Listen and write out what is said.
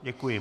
Děkuji.